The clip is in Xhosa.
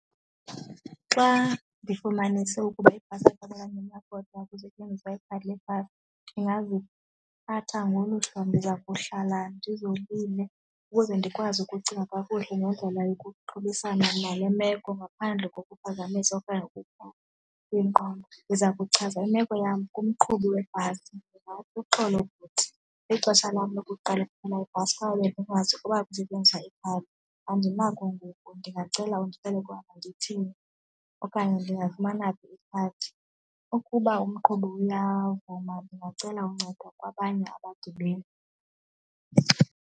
Xa ndifumanise ukuba ibhasi kusetyenziswa ikhadi lebhasi ndingaziphatha ngolu hlobo, ndiza kuhlala ndizolile ukuze ndikwazi ukucinga kakuhle ngendlela yokuxhobisana na le meko ngaphandle kokuphazamisa okanye kwingqondo. Ndiza kuchaza imeko yam kumqhubi webhasi, uxolo bhuti ixesha lam lokuqala ndikhwela ibhasi kwaye bendingazi ukuba kusetyenziswa ikhali, andinako ngoku ndingacela undixelele ukuba mandithini okanye ndingafumana phi ikhadi. Ukuba umqhubi uyavuma ndingacela uncedo kwabanye abagibeli.